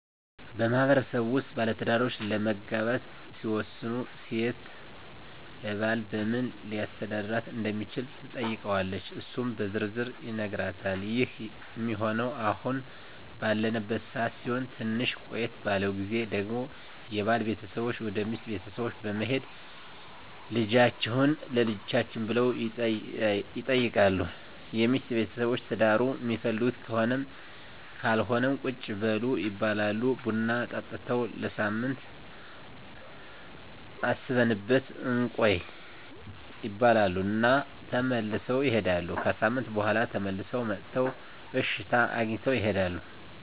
በማህበረሰቡ ውስጥ ባለትዳሮች ለመጋባት ሲወስኑ ሴት ለባል በምን ሊያስተዳድራት እንደሚችል ትጠይቀዋለች እሱም በዝርዝር ይነግራታል ይህ ሚሆነው አሁን ባለንበት ሰዓት ሲሆን ትንሽ ቆየት ባለው ግዜ ደግሞ የባል ቤተሰቦች ወደ ሚስት ቤተሰቦች በመሄድ ልጃቹህን ለልጃችን ብለው ይጠይቃሉ የሚስት ቤተሰቦች ትዳሩን ሚፈልጉት ከሆነም ካልሆነም ቁጭ በሉ ይባላሉ ቡና ጠጥተው ለሳምንት አስበንበት እንቆይ ይባሉ እና ተመልሰው ይሄዳሉ። ከሣምንት በኋላ ተመልሰው መጥተው እሽታ አግኝተው ይሄዳሉ።